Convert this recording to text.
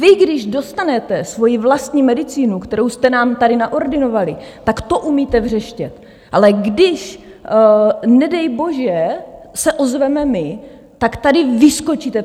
Vy když dostanete svoji vlastní medicínu, kterou jste nám tady naordinovali, tak to umíte vřeštět, ale když nedej bože se ozveme my, tak tady vyskočíte.